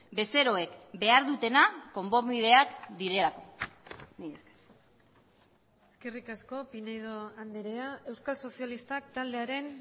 bezeroek behar dutena konponbideak direlako mila esker eskerrik asko pinedo anderea euskal sozialistak taldearen